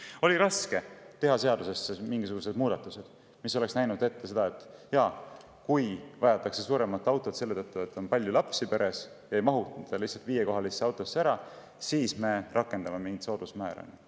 Kas oli raske teha seadusesse mingisugused muudatused, mis oleksid näinud ette, et kui vajatakse suuremat autot selle tõttu, et peres on palju lapsi ja viiekohalisse autosse ei mahuta ära, siis rakendatakse mingit soodusmäära?